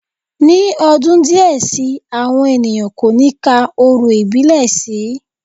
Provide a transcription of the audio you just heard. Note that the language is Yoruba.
Ní ọdún díẹ̀ si, àwọn ènìyàn kò ní ka orò ìbílẹ̀ sí